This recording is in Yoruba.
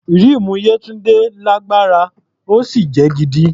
Ríìmù Yétúndé lágbára, ó sì jẹ́ gidi.